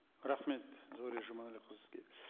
рахмет зәуре жұманәліқызы сізге